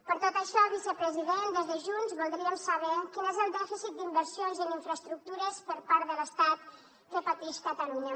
per tot això vicepresident des de junts voldríem saber quin és el dèficit d’inversions en infraestructures per part de l’estat que patix catalunya